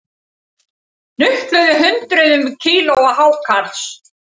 Hnupluðu hundruðum kílóa hákarls